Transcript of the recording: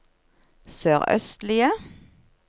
sørøstlige